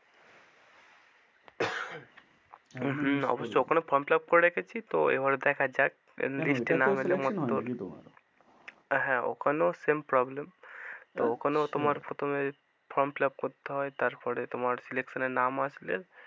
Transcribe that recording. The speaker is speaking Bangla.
অবশ্য ওখানে form fill up করে রেখেছি তো এবারে দেখা যাক, হ্যাঁ ওখানেও same problem ওখানেও তোমার প্রথমে form fill up করতে হয় তারপরে তোমার selection এ নাম আসলে,